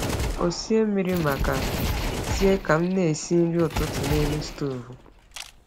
Ọ sie mmiri maka tii ka m na-esi nri ụtụtụ n’elu stovu.